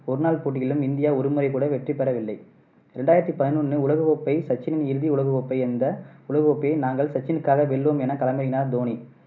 ஒருநாள் போட்டிகளில் இந்தியா ஒருமுறை கூட வெற்றிபெறவில்லை. ரெண்டாயிரத்தி பதினொண்ணு உலக கோப்பை சச்சினின் இறுதி உலகக்கோப்பை. இந்த உலக கோப்பையை நாங்கள் சச்சினுக்காக வெல்வோம் என களமிறங்கினார் தோனி.